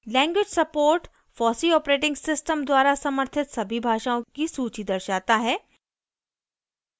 language support fosseeऑपरेटिंग system द्वारा समर्थित सभी भाषाओँ की सूची दर्शाता है